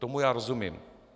Tomu já rozumím.